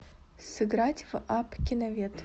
сыграть в апп киновед